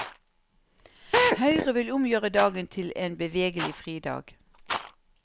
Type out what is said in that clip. Høyre vil omgjøre dagen til en bevegelig fridag.